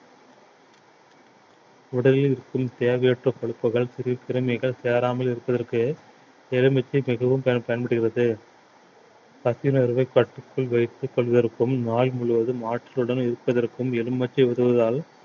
உடலில் இருக்கும் தேவையற்ற கொழுப்புகள் கிருமிகள் சேராமல் இருப்பதற்கு எலுமிச்சை மிகவும் பயன்~ பயன்படுகிறது பசி உணர்வை கட்டுக்குள் வைத்துக் கொள்வதற்கும் நாள் முழுவதும் ஆற்றலுடன் இருப்பதற்கும் எலுமிச்சை உதவுவதால்